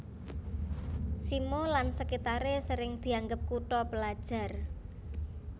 Simo lan sekitare sering dianggep kutha pelajar